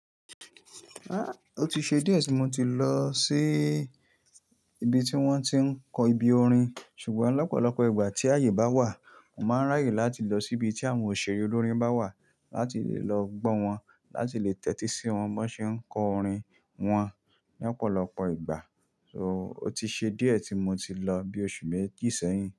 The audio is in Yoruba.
Ah! Ó ti ṣe díẹ̀ tí mo ti lọ sí ibi tí wón ti ń kọ ibi orin, ṣùgbọ́n lọ́pọ̀lọpọ̀ ìgbà tí àyè bá wà, mo máa ń ráyè láti lọ sí ibi tí àwọn òṣèré olóríń bá wà láti lè lọ gbọ́ wọn, láti lè tẹ́tí sí wọn bí wọ́n ṣe ń kọ orin wọn ní ọ̀pọ̀lọpọ̀ ìgbà. So ó ti ṣe díẹ̀ tí mo ti lọ bí oṣù méjì sẹ́yìn.